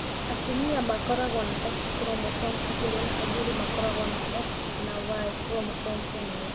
Atumia makoragwo na X chromosome igĩrĩ na athuri makoragwo na X na Y chromosome ĩmwe.